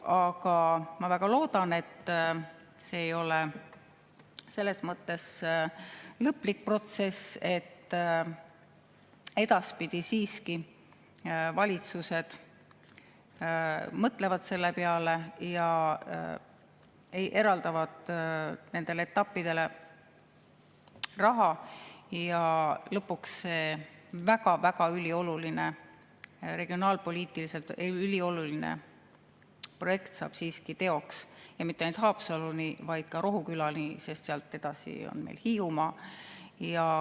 Aga ma väga loodan, et see ei ole selles mõttes lõplik, et edaspidi siiski valitsused mõtlevad selle peale ja eraldavad nendele etappidele raha, ja lõpuks see regionaalpoliitiliselt ülioluline projekt saab siiski teoks ja mitte ainult Haapsaluni, vaid ka Rohukülani, sest sealt edasi on Hiiumaa.